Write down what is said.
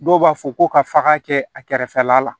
Dɔw b'a fɔ ko ka faga kɛ a kɛrɛfɛla la